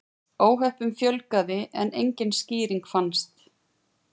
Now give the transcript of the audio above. Óhöppunum fjölgaði en engin skýring fannst.